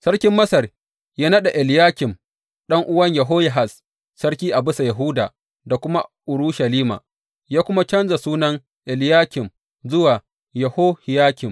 Sarkin Masar ya naɗa Eliyakim, ɗan’uwan Yehoyahaz, sarki a bisa Yahuda da kuma Urushalima, ya kuma canja sunan Eliyakim zuwa Yehohiyakim.